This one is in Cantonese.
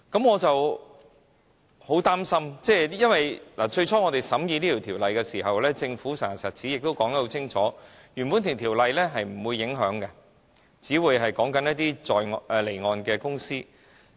我很擔心，最初審議此項修例的時候，政府實牙實齒亦說得很清楚，是不會影響原本的條例的，因只會涉及一些離岸公司。